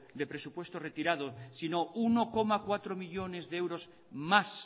de presupuestos retirado sino uno coma cuatro millónes de euros más